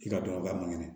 I ka dɔnbagaya man kɛnɛ